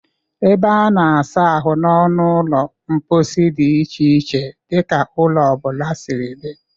Ebe a na-asa ahụ n'ọnụ ụlọ mkposi dị iche n'iche dị ka ụlọ ọ bụla si dị.